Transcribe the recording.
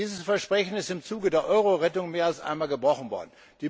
Dieses Versprechen ist im Zuge der Euro Rettung mehr als einmal gebrochen worden.